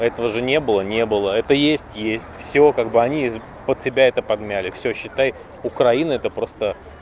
этого же не было не было это есть есть всё как бы они под себя это подмяли всё считай украина это просто